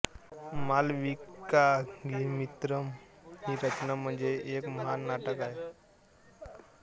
मालविकाग्निमित्रम ही रचना म्हणजे एक महान नाटक आहे